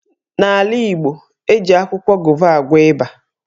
N'ala Igbo, eji akwụkwọ gova agwọ ịba.